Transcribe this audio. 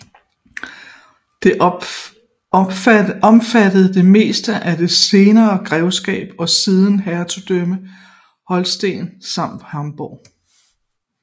Det omfattede det meste af det senere grevskab og siden hertugdømme Holsten samt Hamborg